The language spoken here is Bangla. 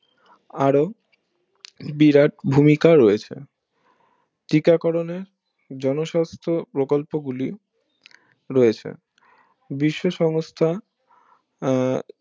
আরো বিরাট ভূমিকা রয়েছে টিকাকরণে জনস্বাস্থ প্রকল্প গুলি রয়েছে বিশ্ব সমস্থা আহ